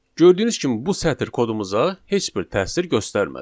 Gördüyünüz kimi bu sətr kodumuza heç bir təsir göstərmədi.